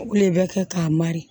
Le bɛ kɛ k'a mali